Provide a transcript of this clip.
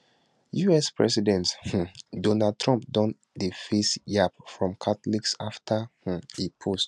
us president um donald trump don dey face yab from catholics afta um e post